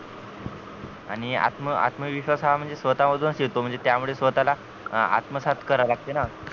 आणि आत्म आत्म आत्मविश्वास हा स्वतः पासूनच येतो म्हणजे त्यामुळे स्वतः ला आत्मसाथ करा लागतेना